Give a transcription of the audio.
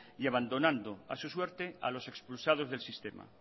y abandonando a su suerte a los expulsados del sistema